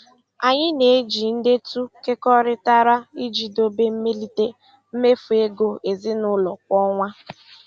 Anyị na-eji ndetu kekọrịtara iji dobe mmelite mmefu ego ezinụlọ kwa ọnwa.